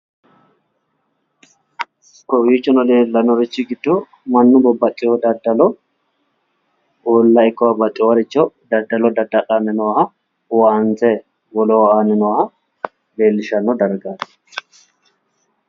Kawiichono leellannori giddo Mannu babbaxxeewo daddalo uulla ikko babbaxxeewooricho daddalo dadda'lanni nooha owaante woleho aanni nooha leellishshanno dargaati